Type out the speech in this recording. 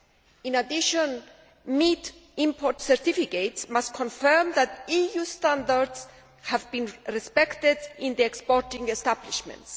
In addition, meat import certificates must confirm that EU standards have been respected in the exporting establishments.